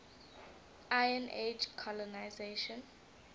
iron age colonisation